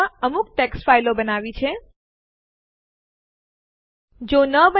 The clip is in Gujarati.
rm આરએફ ટેસ્ટડિર લખો અને પછી Enter દબાવો